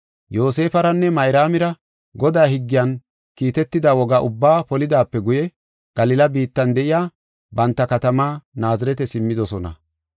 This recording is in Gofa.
Yoosefaranne Mayraamira Godaa higgiyan kiitetida woga ubbaa polidaape guye Galila biittan de7iya banta katama Naazirete simmidosona.